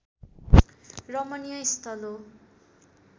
रमणीय स्थल हो